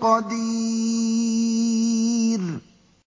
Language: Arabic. قَدِيرٌ